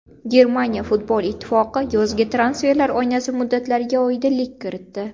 Germaniya futbol ittifoqi yozgi transferlar oynasi muddatlariga oydinlik kiritdi .